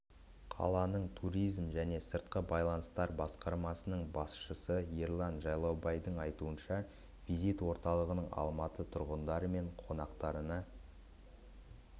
қаланың туризм және сыртқы байланыстар басқармасының басшысы ерлан жайлаубайдың айтуныша визит орталығының алматы тұрғындары мен қонақтарына